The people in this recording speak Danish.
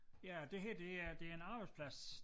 Ja det her det er det er en arbejdsplads